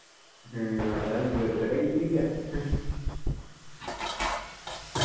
ഉം അതാണ് വെറുതെ കയ്യിൽ പിടിക്കു